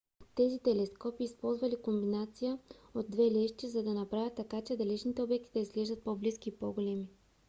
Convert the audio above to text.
тези телескопи използвали комбинация от две лещи за да направят така че далечни обекти да изглеждат по-близки и по-големи